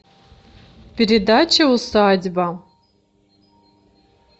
передача усадьба